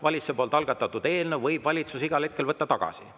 Valitsuse algatatud eelnõu võib valitsus igal hetkel võtta tagasi.